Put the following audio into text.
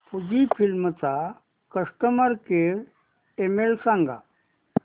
Fujifilm चा customer care email सांगा